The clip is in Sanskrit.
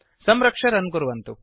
संरक्ष्य रन् कुर्वन्तु